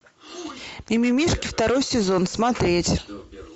мимимишки второй сезон смотреть